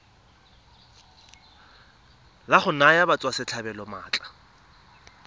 la go naya batswasetlhabelo maatla